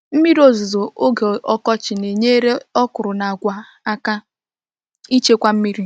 Mmiri ozuzo oge ọkọchị na-enyere okra na agwa aka ichekwa mmiri.